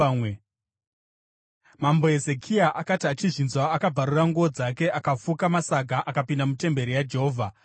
Mambo Hezekia akati achizvinzwa, akabvarura nguo dzake akafuka masaga akapinda mutemberi yaJehovha.